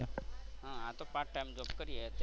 આ તો part time job કરીએ અત્યારે.